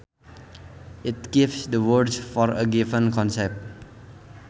It gives the words for a given concept